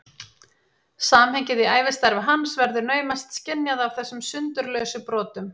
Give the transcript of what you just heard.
Samhengið í ævistarfi hans verður naumast skynjað af þessum sundurlausu brotum.